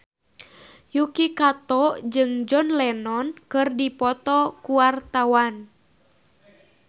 Yuki Kato jeung John Lennon keur dipoto ku wartawan